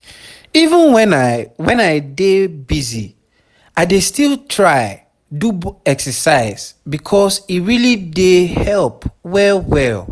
even when i when i dey busy i dey still try do exercise because e really dey help well well.